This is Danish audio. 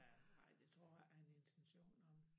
Ja ej det tror jeg ikke han har intentioner om